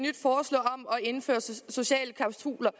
indføre sociale klausuler